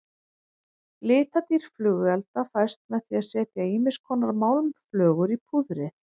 Litadýrð flugelda fæst með því að setja ýmiskonar málmflögur í púðrið.